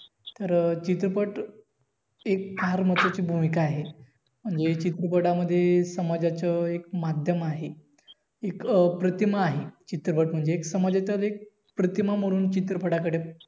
तर चित्रपट एक फार मोठी अशी भूमिका आहे म्हणेज चित्रपटामध्ये समाजाचं एक माध्यम आहे एक प्रतिमा आहे चित्रपट म्हणजे अं समाजाचं प्रतिमा म्हणून चित्रपटाकडे